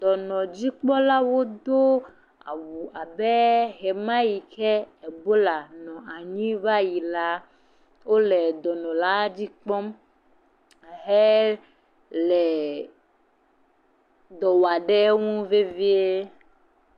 Dɔnɔdzikpɔlawo do awu abe ɣemaɣi ke bola nɔ anyi va yi la wole dɔnɔ la dzikpɔm hele dɔwɔm ɖe enu vevie